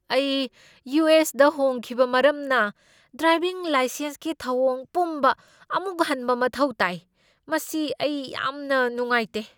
ꯑꯩ U. S. ꯗ ꯍꯣꯡꯈꯤꯕ ꯃꯔꯝꯅ ꯗ꯭ꯔꯥꯏꯚꯤꯡ ꯂꯥꯏꯁꯦꯟꯁꯀꯤ ꯊꯧꯑꯣꯡ ꯄꯨꯝꯕ ꯑꯃꯨꯛ ꯍꯟꯕ ꯃꯊꯧ ꯇꯥꯏ, ꯃꯁꯤ ꯑꯩ ꯌꯥꯝꯅ ꯅꯨꯡꯉꯥꯏꯇꯦ ꯫